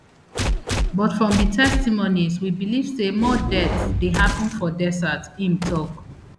but from di testimonies we believe say more deaths dey happun for desert im tok